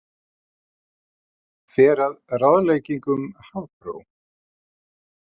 Fer að ráðleggingum Hafró